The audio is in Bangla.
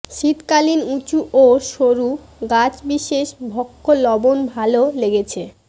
শীতকালীন উঁচু ও সরু গাছবিশেষ ভক্ষ্য লবণ ভালো লেগেছে